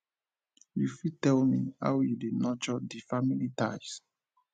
you fit tell me how you dey nurture di new family ties